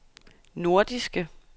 nordiske